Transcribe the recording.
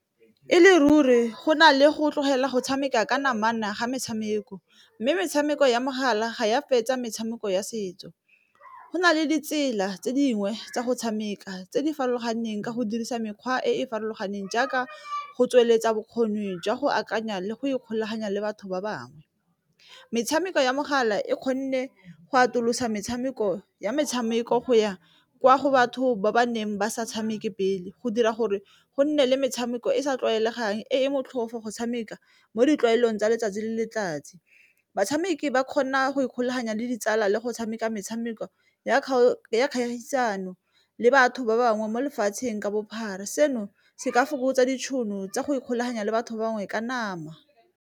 E le ruri go na le go tlogela go tshameka ka namana ga metshameko, mme metshameko ya mogala ga ya fetsa metshameko ya setso, go na le ditsela tse dingwe tsa go tshameka tse di farologaneng ka go dirisa mekgwa e e farologaneng jaaka go tsweletsa bokgoni jwa go akanya le go ikgolaganya le batho ba bangwe. Metshameko ya mogala e kgone go atolosa metshameko ya metshameko go ya kwa go batho ba ba neng ba sa tshameke pele, go dira gore go nne le metshameko e sa tlwaelegang e motlhofo go tshameka mo ditlwaelong tsa letsatsi le letsatsi. Batshameki ba kgona go ikgolaganya le ditsala le go tshameka metshameko ya kgaisano le batho ba bangwe mo lefatsheng ka bophara, seno se ka fokotsa ditšhono tsa go ikgolaganya le batho ba bangwe ka nama.